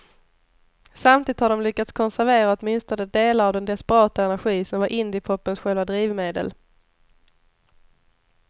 Samtidigt har de lyckats konservera åtminstone delar av den desperata energi som var indiepopens själva drivmedel.